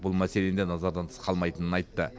бұл мәселені де назардан тыс қалмайтынын айтты